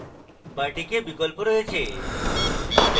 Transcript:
bartik we বিকল্প রয়েছে